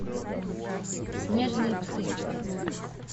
снежные псы